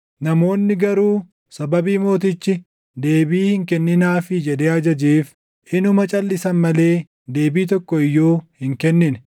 Namoonni garuu sababii mootichi, “Deebii hin kenninaafii” jedhee ajajeef inuma calʼisan malee deebii tokko iyyuu hin kennine.